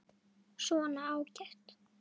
Svona, ágætt.